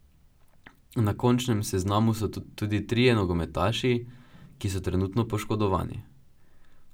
Na končnem seznamu so tudi trije nogometaši, ki so trenutno poškodovani.